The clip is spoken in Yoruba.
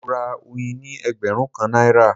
Mo ra oyin ní ẹgbẹ̀rún kan náírà